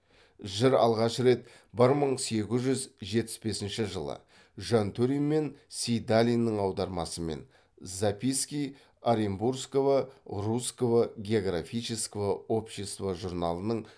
жыр алғаш рет бір мың сегіз жүз жетпіс бесінші жылы жантөрин мен сейдалиннің аудармасымен записки оренбургского русского географического общества журналының